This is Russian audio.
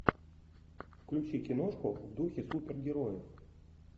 включи киношку в духе супергероев